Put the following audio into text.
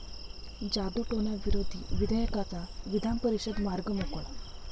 जादूटोणाविरोधी विधेयकाचा विधानपरिषदेत मार्ग मोकळा